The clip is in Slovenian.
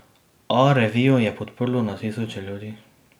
A revijo je podprlo na tisoče ljudi.